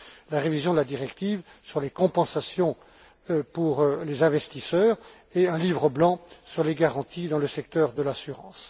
la révision de la directive sur les compensations pour les investisseurs et un livre blanc sur les garanties dans le secteur de l'assurance.